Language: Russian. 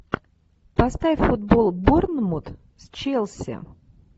поставь футбол борнмут с челси